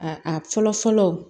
A a fɔlɔ fɔlɔ